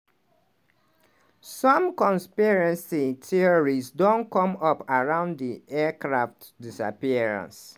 some conspiracy theories don come up around di aircraft disappearance.